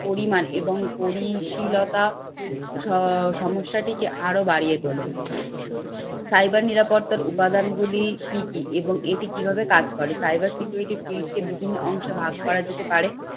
পরিমাণ এবং পরিশিলতা স সমস্যাটিকে আরো বাড়িয়ে তোলে। cyber নিরাপত্তার উপাদানগুলি কি কি এবং এটি কিভাবে কাজ করে? Cyber security field কে বিভিন্ন অংশে ভাগ করা যেতে পারে।